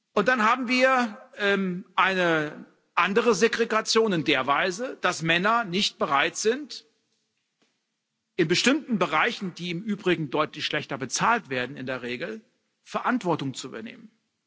Und dann haben wir eine andere Segregation in der Weise, dass Männer nicht bereit sind, in bestimmten Bereichen, die im Übrigen in der Regel deutlich schlechter bezahlt werden, Verantwortung zu übernehmen.